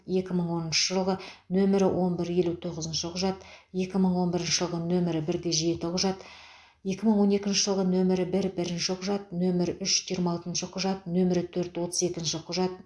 екі мың оныншы жылғы нөмірі он бір елу тоғызыншы құжат екі мың он бірінші жылғы нөмірі бірде жеті құжат екі мың он екінші жылғы нөмірі бір бірінші құжат нөмірі үш жиырма алтыншы құжат нөмірі төрт отыз екінші құжат